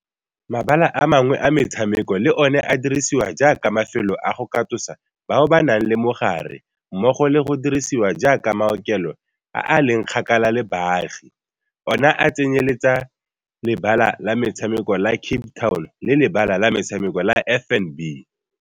Mabala a mangwe a metshameko le one a dirisiwa jaaka mafelo a go katosa bao ba nang le mogare mmogo le go dirisiwa jaaka maokelo a a leng kgakala le baagi, ona a tsenyeletsa Lebala la Metshameko la Cape Town le Lebala la Metshameko la FNB.